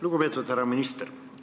Lugupeetud härra minister!